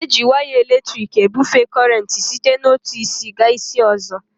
Eji waya elektriki ebufee kọrenti site n'otu isi gaa isi ọzọ